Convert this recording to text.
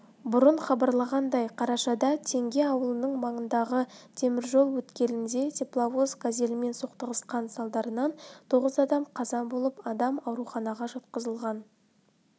бұрын хабарланғандай қарашада теңге ауылының маңындағы темір жол өткелінде тепловоз газельмен соқтығысқан салдарынан тоғыз адам қаза болып адам ауруханаға жатқызылған